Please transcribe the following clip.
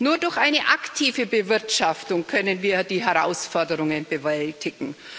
Nur durch eine aktive Bewirtschaftung können wir die Herausforderungen bewältigen.